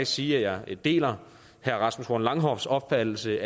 sige at jeg deler herre rasmus horn langhoffs opfattelse